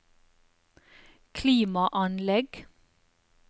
klimaanlegg